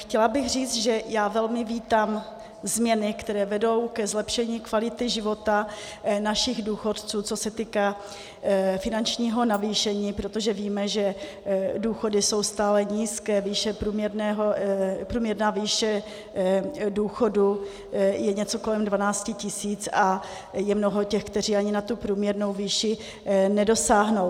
Chtěla bych říct, že já velmi vítám změny, které vedou ke zlepšení kvality života našich důchodců, co se týká finančního navýšení, protože víme, že důchody jsou stále nízké, průměrná výše důchodu je něco kolem 12 tisíc a je mnoho těch, kteří ani na tu průměrnou výši nedosáhnou.